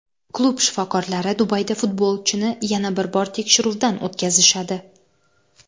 Klub shifokorlari Dubayda futbolchini yana bir bor tekshiruvdan o‘tkazishadi.